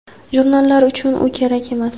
jurnallar uchun u kerak emas.